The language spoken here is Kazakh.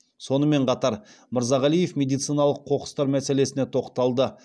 сонымен қатар мырзағалиев медициналық қоқыстар мәселесіне тоқталды